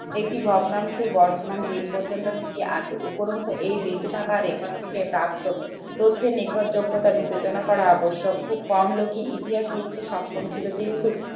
একটি ভগ্নাংশের বর্ধমান দিন পর্যন্ত কি কি আছে উপরন্তু এই বেঁচে থাকা record থেকে তথ্যে নির্ভরযোগ্যতা বিবেচনা করা আবশ্যক খুব কম লোকই ইতিহাস লিখতে সক্ষম ছিল যেহেতু